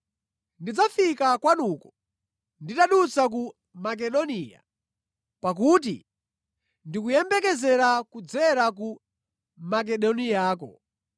Ndidzafika kwanuko nditadutsa ku Makedoniya pakuti ndikuyembekezera kudzera ku Makedoniyako.